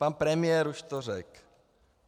Pan premiér už to řekl.